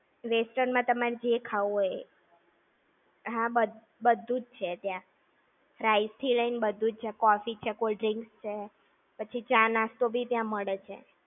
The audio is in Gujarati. Western માં તમારે જે ખાવું હોય એ. હા, બધું જ છે ત્યાં. Fries થી લઇ ને બધું જ છે. Coffee છે, cold-drinks છે! પછી ચા-નાસ્તો બી ત્યાં મળે છે.